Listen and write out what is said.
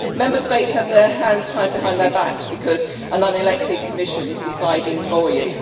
Member States have their hands tied behind their backs because an unelected Commission is deciding for you.